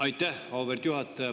Aitäh, auväärt juhataja!